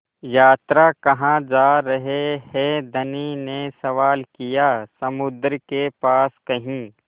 यात्रा कहाँ जा रहे हैं धनी ने सवाल किया समुद्र के पास कहीं